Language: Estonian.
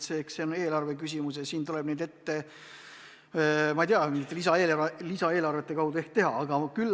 Eks see on eelarve küsimus ja seda tuleb ehk, ma ei tea, mingite lisaeelarvete kaudu teha.